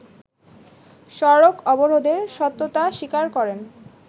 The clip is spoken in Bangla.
সড়ক অবরোধের সত্যতা স্বীকার করেন